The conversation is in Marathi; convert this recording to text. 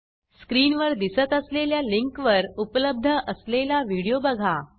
स्क्रीनवर दिसत असलेल्या लिंकवर उपलब्ध असलेला व्हिडिओ बघा